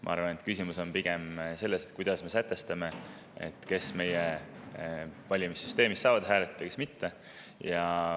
Ma arvan, et küsimus on pigem selles, kuidas me sätestame, kes meie valimissüsteemis saavad hääletada ja kes mitte.